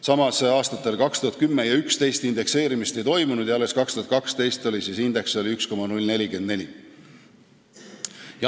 Samas, aastatel 2010 ja 2011 indekseerimist ei toimunud ja alles 2012. aastal oli kasutusel indeks, milleks oli 1,044.